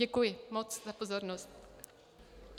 Děkuji moc za pozornost.